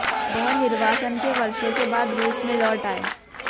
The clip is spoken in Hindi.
वह निर्वासन के वर्षों के बाद रूस में लौट आए